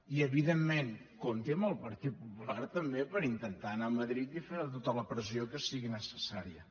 i evidentment compti amb el partit popular també per intentar anar a madrid i fer tota la pressió que sigui necessària